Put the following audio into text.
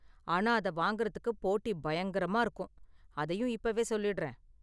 ஆனா அத வாங்கறதுக்கு போட்டி பயங்கரமா இருக்கும், அதையும் இப்பவே சொல்லிடுறேன்.